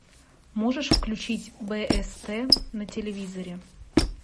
можешь включить бст на телевизоре